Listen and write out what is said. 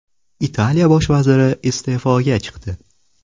Italiya bosh vaziri iste’foga chiqdi.